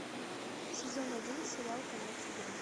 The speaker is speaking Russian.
сезон один сериал конец игры